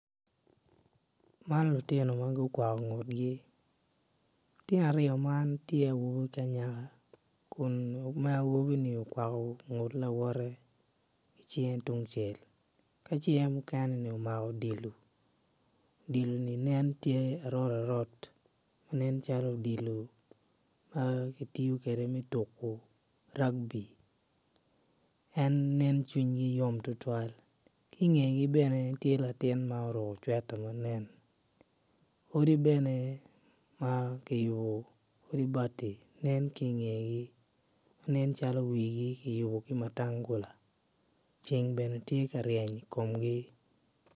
Man lutino ma gu kwako ngutgi lutino aryo man tye awobi ki anyaka kun ma awobini okwako ngut lawotte ki cingge tungcel ki cinge mukene-ni omako odilo, odilo-ni nen tye arot arot nen calo odilo ma ki tiyo kede me tuku ragbi en nen cwinygi yom tutwal ki ingegi bene tye latin muruku cweta ma nen odi bene ma ki yubu odi bati ki ingegi ma nen calo wigi ki yubu ki matangula ceng bene tye ka ryeny i komgi